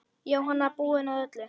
Jóhanna: Búinn að öllu?